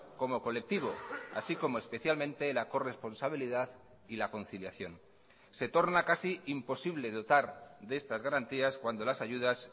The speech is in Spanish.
como colectivo así como especialmente la corresponsabilidad y la conciliación se torna casi imposible dotar de estas garantías cuando las ayudas